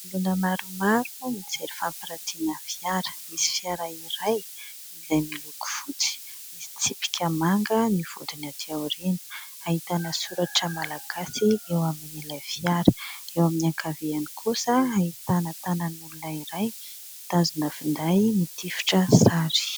Olona maromaro mijery fampiratiana fiara. Misy fiara iray izay miloko fotsy, misy tsipika manga ny vodiny aty aoriana ahitana soratra "Malagasy" eo amin'ilay fiara, eo amin'ny ankaviany kosa ahitana tanan'olona iray mitazona finday mitifitra sary.